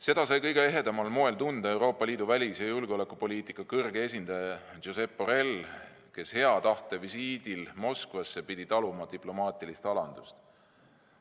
Seda sai kõige ehedamal moel tunda Euroopa Liidu välis- ja julgeolekupoliitika kõrge esindaja Josep Borrell, kes hea tahte visiidil Moskvasse pidi taluma diplomaatilist alandamist.